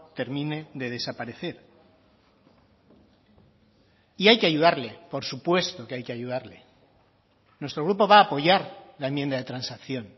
termine de desaparecer y hay que ayudarle por supuesto que hay que ayudarle nuestro grupo va a apoyar la enmienda de transacción